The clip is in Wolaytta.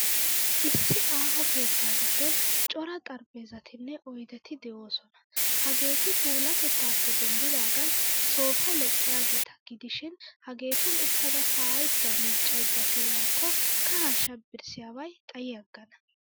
Issi aaho keettaa giddon cora xariphpheezatinne oydeti de'oosona. Hageeti puulaatettaappe denddidaagan soofaa leqqiyaageeta gidishin, hageetun uttada kaa'aydda miiccaydda pee'iyaakko kahaa shabbiriyaabay xayi aggana.